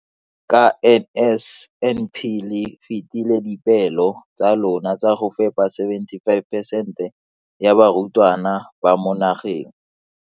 Ka NSNP le fetile dipeelo tsa lona tsa go fepa masome a supa le botlhano a diperesente ya barutwana ba mo nageng.